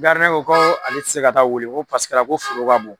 ko ko ale ti se ka taa weele ko paseke ko foro ka bon